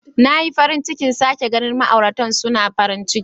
Na yi farin cikin sake ganin ma'auratan suna farin ciki.